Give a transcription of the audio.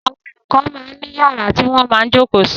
Àwọn olùkọ máa ń ní yàrá tí wọ́n máa ń jókòó sí.